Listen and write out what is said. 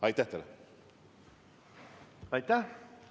Aitäh!